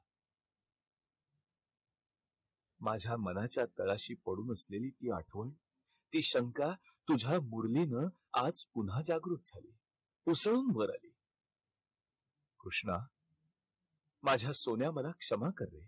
माझ्या मनाच्या तळाशी पडून असलेली ती आठवण, ती शंका तुझ्या मुरलीनं आज पुन्हा जागृत झाली. उसळून वर आली. कृष्णा माझ्या सोन्या मला क्षमा कर रे.